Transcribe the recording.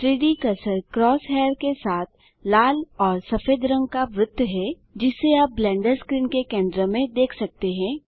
3Dकर्सर cross hair के साथ लाल और सफेद रंग का वृत्त है जिसे आप ब्लेंडर स्क्रीन के केंद्र में देख सकते हैं